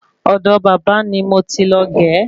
Ọ̀do bábà ni mo ti lọ ge